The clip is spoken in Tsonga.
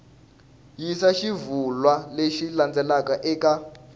yisa xivulwa lexi landzelaka eka